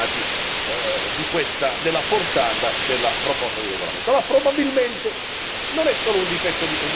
sarebbero imbecilli i cittadini europei che si sono molto preoccupati della portata della proposta di regolamento.